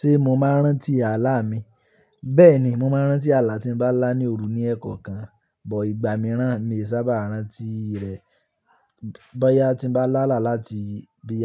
Ṣé mo máa ń rántí ààlà mi? Bẹ́ẹ̀ni, mo máa ń rántí ààlà tí mo bá lá ní òru ní ẹ̀kọ́ kan, bọ̀ ìgbà mìíràn mi ò sábà rántí rẹ̀. Bọ́yá tí mo bá là láti bí